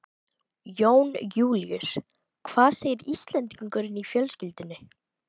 Jón Júlíus: Hvað segir Íslendingurinn í fjölskyldunni?